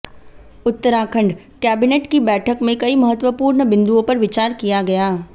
Uttarakhand cabinet की बैठक में कई महत्वपूर्ण बिंदुओं पर विचार किया गया